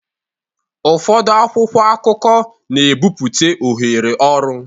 Ụfọdụ akwụkwọ akụkọ na-ebipụta ohere ọrụ